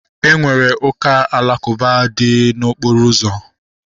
Enwere ụka alakụba dị n'okporo ụzọ